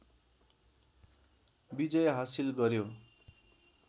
विजय हासिल गर्‍यो।